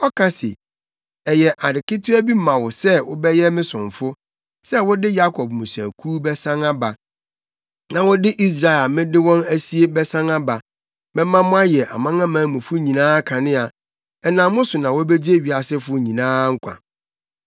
Ɔka se, “Ɛyɛ ade ketewa bi ma wo sɛ wobɛyɛ me somfo sɛ wode Yakob mmusuakuw bɛsan aba na wode Israelfo a mede wɔn asie bɛsan aba. Mɛma moayɛ amanamanmufo nyinaa kanea, ɛnam mo so na wobegye wiasefo nyinaa nkwa.”